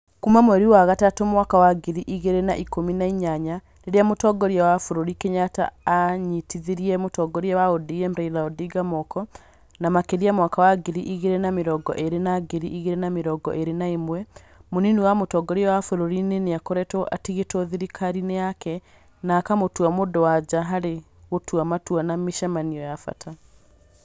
Kuuma mweri wa gatatũ mwaka wa ngiri igiri na ikũmi na inyanya, rĩrĩa Mũtongoria wa bũrũri Kenyatta aanyitithirie mũtongoria wa ODM Raila Odinga moko, na makĩria mwaka wa ngiri igiri na mĩrongo ĩrĩ na ngiri igĩri na mĩrongo ĩri na ĩmwe, mũnini wa mũtongoria wa bũrũri nĩ akoretwo atigĩtwo thirikari-inĩ yake, na akamũtua mũndũ wa nja harĩ gũtua matua na mĩcemanio ya bata.